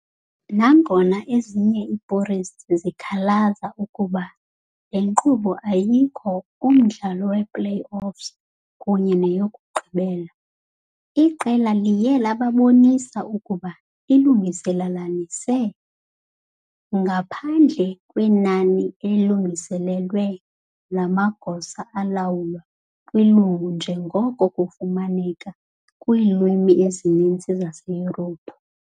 Nangona ezinye i-purist zikhalaza ukuba le nkqubo ayikho umdlalo we-playoffs kunye neyokugqibela, iqela liye labonisa ukuba lilungelelanise, ngaphandle kwenani elilinganiselwe lamagosa alawulwa kwilungu njengoko kufumaneka kwiilwimi ezininzi zaseYurophu.